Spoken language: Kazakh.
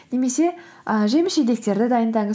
немесе і жеміс жидектерді дайындаңыз